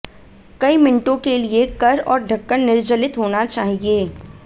कई मिनटों के लिए कर और ढक्कन निर्जलित होना चाहिए